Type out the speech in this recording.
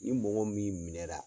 Ni mɔgɔ min minɛra